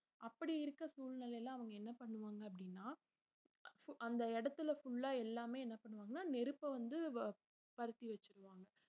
அப்படி இருக்க சூழ்நிலையில அவங்க என்ன பண்ணுவாங்க அப்படின்னா அந்த இடத்துல full ஆ எல்லாமே என்ன பண்ணுவாங்கன்னா நெருப்பை வந்து பருதி வெச்சுருவாங்க